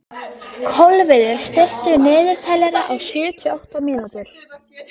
Kolviður, stilltu niðurteljara á sjötíu og átta mínútur.